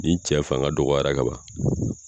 Ni cɛ fanga dɔgɔyara ka ban